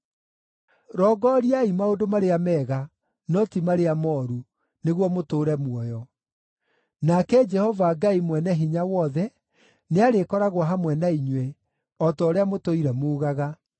Rongoriai maũndũ marĩa mega, no ti marĩa mooru, nĩguo mũtũũre muoyo. Nake Jehova Ngai Mwene-Hinya-Wothe nĩarĩkoragwo hamwe na inyuĩ, o ta ũrĩa mũtũire muugaga.